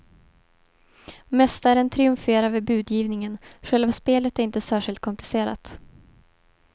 Mästaren triumferar vid budgivningen, själva spelet är inte särskilt komplicerat.